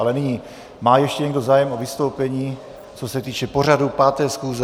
Ale nyní, má ještě někdo zájem o vystoupení, co se týče pořadu 5. schůze?